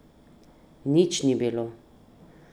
Nič ni bilo!